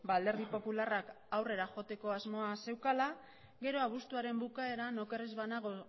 alderdi popularrak aurrera joateko asmoa zeukala gero abuztuaren bukaeran oker ez banago